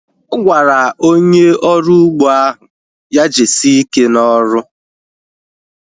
Ọ gwara onye ọrụ ugbo ahụ ya jisie ike na ọrụ